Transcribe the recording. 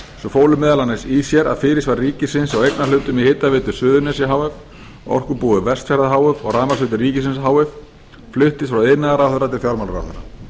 fólu meðal annars í sér að fyrirsvar ríkisins á eignarhlutum í hitaveitu suðurnesja h f orkubúi vestfjarða h f og rafmagnsveitum ríkisins h f fluttist frá iðnaðarráðherra til fjármálaráðherra